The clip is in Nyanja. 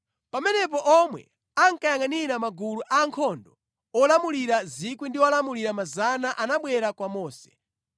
Pamenepo omwe ankayangʼanira magulu a ankhondo olamulira 1,000 ndi olamulira 100 anabwera kwa Mose,